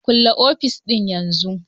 Kulle ofis ɗin yanzu!